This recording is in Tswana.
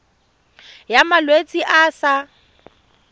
ya malwetse a a sa